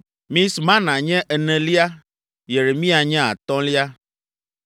Mismana nye enelia, Yeremia nye atɔ̃lia,